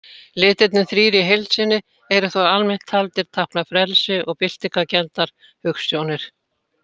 Litirnir þrír í heild sinni eru þó almennt taldir tákna frelsi og byltingarkenndar hugsjónir.